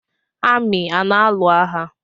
Amị a na alụ agha?